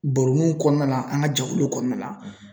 Baro nin kɔnɔna na, an ka jɛkuluw kɔnɔna na.